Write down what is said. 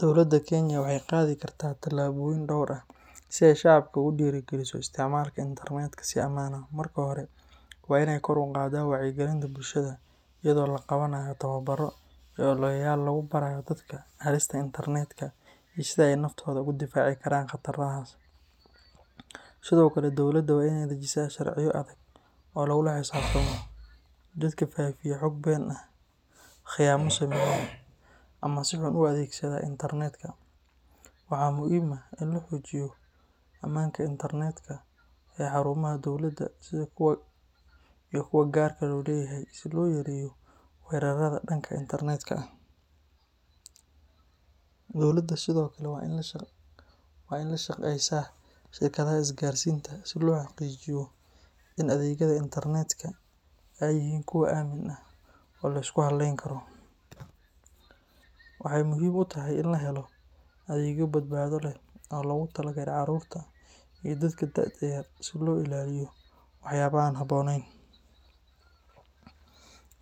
Dowladda Kenya waxay qaadi kartaa tallaabooyin dhowr ah si ay shacabka ugu dhiirrigeliso isticmaalka internetka si ammaan ah. Marka hore, waa inay kor u qaaddaa wacyigelinta bulshada iyadoo la qabanayo tababbarro iyo ololayaal lagu barayo dadka halista internetka iyo sida ay naftooda uga difaaci karaan khatarahaas. Sidoo kale, dowladda waa in ay dejisaa sharciyo adag oo lagula xisaabtamo dadka faafiya xog been ah, khiyaamo sameeya, ama si xun u adeegsada internetka. Waxaa muhiim ah in la xoojiyo ammaanka internetka ee xarumaha dowladda iyo kuwa gaarka loo leeyahay si loo yareeyo weerarrada dhanka internetka ah. Dowladda sidoo kale waa in ay la shaqeysaa shirkadaha isgaarsiinta si loo xaqiijiyo in adeegyada internetka ay yihiin kuwo aamin ah oo la isku halleyn karo. Waxay muhiim u tahay in la helo adeegyo badbaado leh oo loogu talagalay carruurta iyo dadka da’da yar si looga ilaaliyo waxyaabaha aan habboonayn.